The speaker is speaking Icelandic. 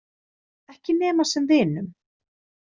Ekki nema sem vinum.